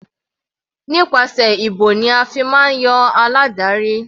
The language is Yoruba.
Nípasẹ̀ ìbò ni a fi máa ń yan aládarí.